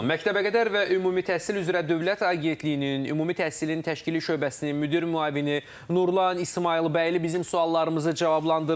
Məktəbəqədər və Ümumi Təhsil üzrə Dövlət Agentliyinin Ümumi Təhsilin Təşkili Şöbəsinin müdir müavini Nurlan İsmayılbəyli bizim suallarımızı cavablandırırdı.